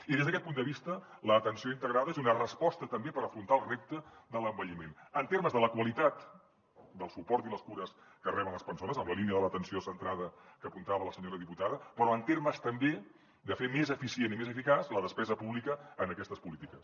i des d’aquest punt de vista l’atenció integrada és donar resposta també per afrontar el repte de l’envelliment en termes de la qualitat del suport i les cures que reben les persones en la línia de l’atenció centrada que apuntava la senyora diputada però en termes també de fer més eficient i més eficaç la despesa pública en aquestes polítiques